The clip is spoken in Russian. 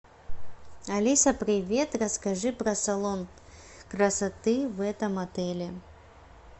алиса привет расскажи про салон красоты в этом отеле